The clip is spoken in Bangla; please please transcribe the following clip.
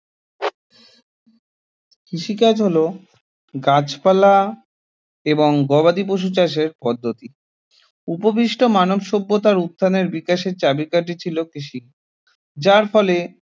কৃষি কাজ হল গাছপালা এবং গবাদি পশু চাষের পদ্ধতি উপবিষ্ট মানব সভ্যতার উত্থানের বিকাশের চাবিকাঠি ছিল কৃষি যার ফলে